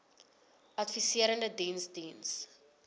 adviserende diens diens